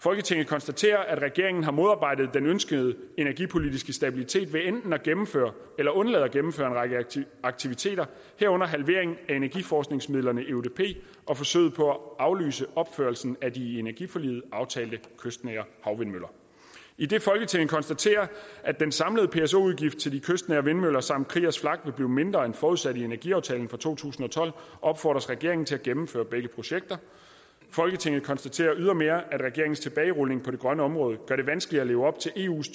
folketinget konstaterer at regeringen har modarbejdet den ønskede energipolitiske stabilitet ved enten at gennemføre eller undlade at gennemføre en række aktiviteter herunder halveringen af energiforskningsmidlerne eudp og forsøget på at aflyse opførelsen af de i energiforliget aftalte kystnære havvindmøller idet folketinget konstaterer at den samlede pso udgift til de kystnære vindmøller samt kriegers flak vil blive mindre end forudsat i energiaftalen fra to tusind og tolv opfordres regeringen til at gennemføre begge projekter folketinget konstaterer ydermere at regeringens tilbagerulninger på det grønne område gør det vanskeligere at leve op til eus